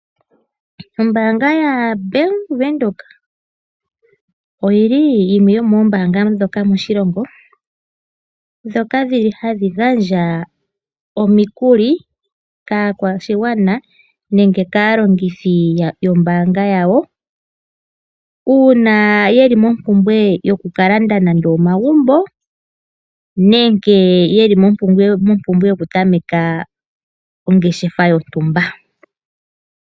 Ombaanga yaBAnk Windhoek oyi li yimwe yomoombaanga moshilongo ndhoka hadhi gandja omikuli kaakwashigwana nenge kaalongithi yombaanga yawo uuna ye li momumpumbwe yokukalanda nande omagumbo nenge ye li mompumbwe yokutameka ongeshefa yontumba.